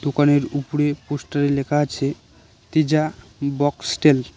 দোকানের উপরে পোস্টারে লেখা আছে তেজা বক্স স্টেল ।